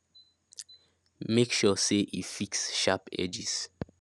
make sure say e fix sharp edges